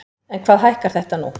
En hvað hækkar þetta nú?